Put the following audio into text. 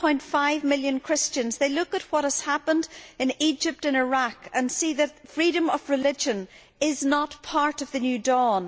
2.5 million Christians they look at what has happened in Egypt and Iraq and see that freedom of religion is not part of the new dawn.